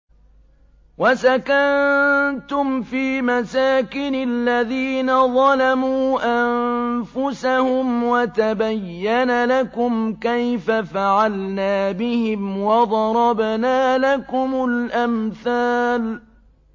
وَسَكَنتُمْ فِي مَسَاكِنِ الَّذِينَ ظَلَمُوا أَنفُسَهُمْ وَتَبَيَّنَ لَكُمْ كَيْفَ فَعَلْنَا بِهِمْ وَضَرَبْنَا لَكُمُ الْأَمْثَالَ